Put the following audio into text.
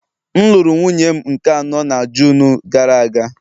M lụrụ nwunye m nke anọ na June gara aga